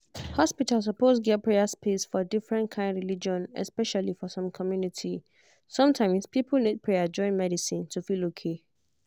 hospital suppose get prayer space for different kind religion especially for some community. sometimes people need prayer join medicine to feel okay